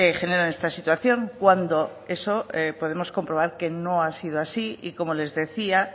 generan esta situación cuando eso podemos comprobar que no ha sido así y como les decía